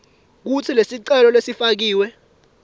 kutsi lesicelo lesifakiwe